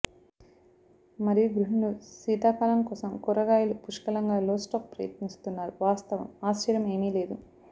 మరియు గృహిణులు శీతాకాలం కోసం కూరగాయల పుష్కలంగా లో స్టాక్ ప్రయత్నిస్తున్నారు వాస్తవం ఆశ్చర్యం ఏమీ లేదు